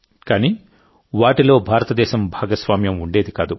కానీ వాటిలో భారతదేశం భాగస్వామ్యం ఉండేది కాదు